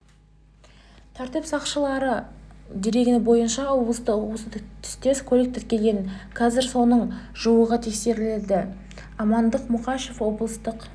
тәртіп сақшыларының дерегі бойынша облыста осы түстес көлік тіркелген қазір соның жуығы тексерілді амандық мұқашев облыстық